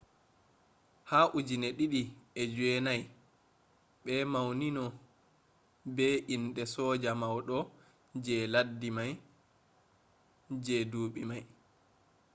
ha 2009 be maunimo be ende soja maudo je laddi mai je dubi mai